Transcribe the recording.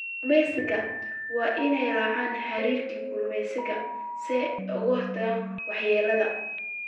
Kalluumeysatada waa inay raacaan xeerarka kalluumeysiga si ay uga hortagaan waxyeellada.